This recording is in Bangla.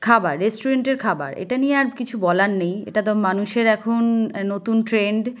খাবার। রেস্টুরেন্টের এর খাবার । এটা নিয়ে আর কিছু বলার নেই। এটা তো মানুষের এখন আ নতুন ট্রেন্ড ।